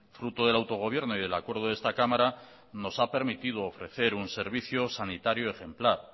fruto del autogobierno y del acuerdo de esta cámara nos ha permitido ofrecer un servicio sanitario ejemplar